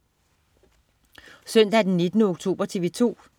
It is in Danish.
Søndag den 19. oktober - TV 2: